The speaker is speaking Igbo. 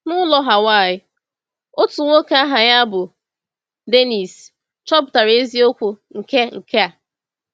N’ụlọ Hawaị, otu nwoke aha ya bụ Dénnís chọpụtara eziokwu nke nke a.